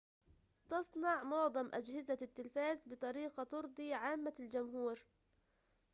تصنع معظم أجهزة التلفاز بطريقة ترضي عامة الجمهور